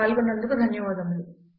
పాల్గొన్నందుకు ధన్యవాదములు